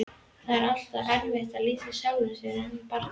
Það er alltaf erfitt að lýsa sjálfum sér sem barni.